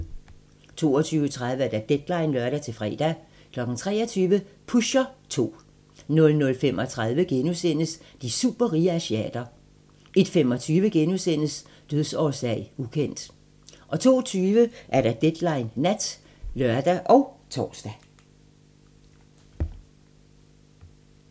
22:30: Deadline (lør-fre) 23:00: Pusher 2 00:35: De superrige asiater * 01:25: Dødsårsag: ukendt * 02:20: Deadline Nat (lør og tor)